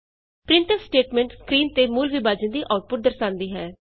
printf statement screen ਤੇ ਮੂਲ ਵਿਭਾਜਨ ਦੀ ਆਉਟਪੁਟ ਦਰਸਾਂਦੀ ਹੈ